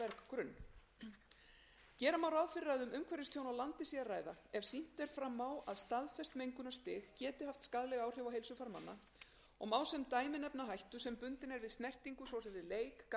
berggrunn gera má ráð fyrir að um umhverfistjón á landi sé að ræða ef sýnt er fram á að staðfest mengunarstig geti haft skaðleg áhrif á heilsufar manna og má sem dæmi nefna hættu sem bundin er við snertingu svo sem við leik garðvinnu